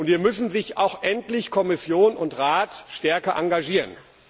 Hier müssen sich auch endlich Kommission und Rat stärker engagieren.